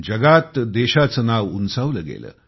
जगात देशाचे नाव उंचावले गेले